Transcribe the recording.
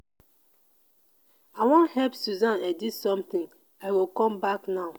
i wan help susan edit something i go come back now.